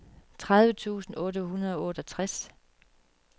tredive tusind otte hundrede og otteogtres